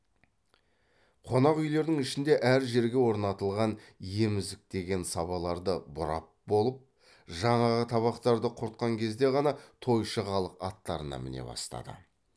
қонақ үйлердің ішінде әр жерге орнатылған емізіктеген сабаларды бұрап болып жаңағы табақтарды құртқан кезде ғана тойшы халық аттарына міне бастады